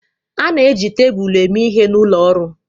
A na-eji tebụl eme ihe n'ụlọ ọrụ